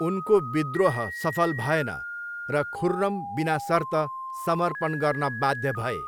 उनको विद्रोह सफल भएन र खुर्रम बिनासर्त समर्पण गर्न बाध्य भए।